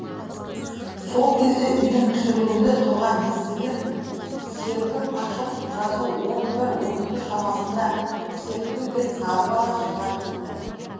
сол кезде үйдің түсірулі тұрған есігін серпіп ашып жасы он бір он екі шамасында секпіл бет сары бала шыға келді